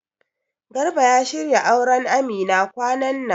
Garba ya shirya auran Amina kwanan nan